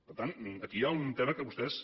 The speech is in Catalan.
per tant aquí hi ha un tema que vostès